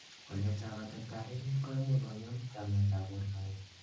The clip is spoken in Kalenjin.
waletab atebtab emet koimuch kongem chametab bortangung